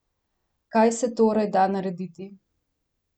Kaj se torej da narediti?